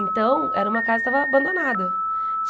Então, era uma casa que estava abandonada.